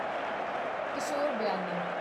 ਕਿਸ਼ੋਰ ਬਿਆਨੀ